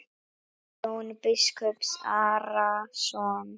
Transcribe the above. Og Jón biskup Arason.